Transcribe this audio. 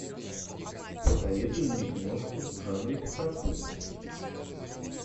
посоветуй мне киношку в жанре саспенс